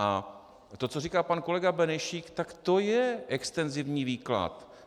A to, co říká pan kolega Benešík, tak to je extenzivní výklad.